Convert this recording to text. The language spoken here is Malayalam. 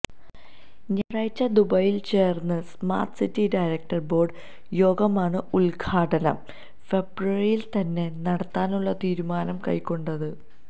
ഞായറാഴ്ച ദുബൈയില് ചേര്ന്ന സ്മാര്ട്ട് സിറ്റി ഡയരക്ടര് ബോര്ഡ് യോഗമാണ് ഉദ്ഘാടനം ഫെബ്രുവരിയില് തന്നെ നടത്താനുള്ള തീരുമാനം കൈക്കൊണ്ടത്